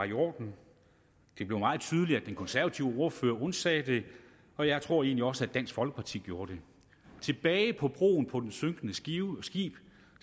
i orden det blev meget tydeligt at den konservative ordfører undsagde det og jeg tror egentlig også at dansk folkeparti gjorde det tilbage på broen på det synkende skib